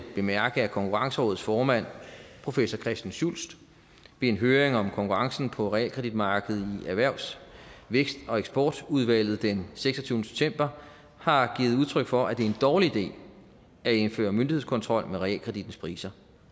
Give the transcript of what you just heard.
bemærke at konkurrencerådets formand professor christian schultz ved en høring om konkurrencen på realkreditmarkedet i erhvervs vækst og eksportudvalget den seksogtyvende september har givet udtryk for at det er en dårlig idé at indføre myndighedskontrol med realkredittens priser